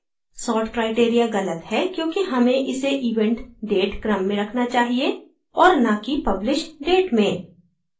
sort criteria गलत है क्योंकि हमें इसे event date क्रम में रखना चाहिए और ना कि published date में